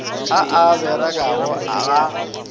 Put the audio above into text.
a a a berekago ga